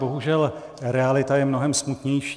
Bohužel realita je mnohem smutnější.